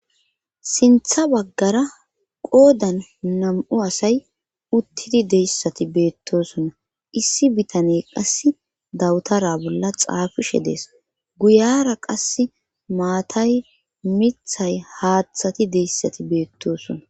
sintha baggara qoodan nam7u asay uttidi deyssati beettosonna issi bitane qass dawutara bolla xaafishe dees guyara qas maatay mithay haaththati deyssati beettosona